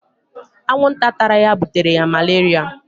Anwụ nta tara ya butere ya maleria